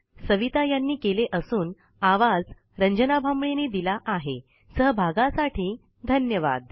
या ट्यूटोरियल चे मराठी भाषांतर सविता यांनी केले असून आवाज रंजना भांबळे यांनी दिला आहे सहभागासाठी धन्यवाद